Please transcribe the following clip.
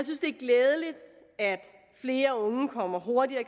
glædeligt at flere unge kommer hurtigere i